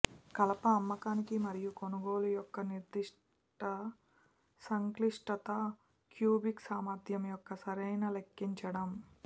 కలప అమ్మకానికి మరియు కొనుగోలు యొక్క నిర్దిష్ట సంక్లిష్టత క్యూబిక్ సామర్థ్యం యొక్క సరైన లెక్కించడం